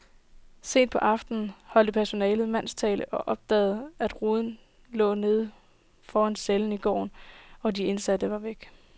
Sent på aftenen holdt personalet mandtal og opdagede, at ruden lå neden for cellen i gården, og de indsatte var væk.